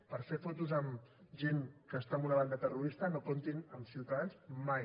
per fer fotos amb gent que està en una banda terrorista no comptin amb ciutadans mai